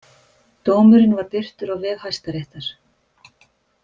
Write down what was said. Dómurinn var birtur á vef Hæstaréttar